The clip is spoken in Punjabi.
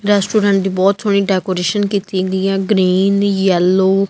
ਰੈਸਟੂਰੈਂਟ ਦੀ ਬਹੁਤ ਸੋਹਣੀ ਡੈਕੋਰੇਸ਼ਨ ਕੀਤੀ ਹੋਈ ਆ ਗਰੀਨ ਯੈੱਲੌ ।